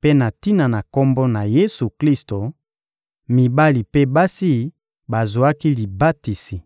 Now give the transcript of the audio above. mpe na tina na Kombo na Yesu-Klisto, mibali mpe basi bazwaki libatisi.